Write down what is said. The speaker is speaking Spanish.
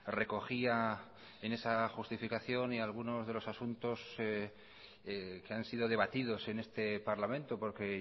recogía en esa justificación y algunos de los asuntos que han sido debatidos en este parlamento porque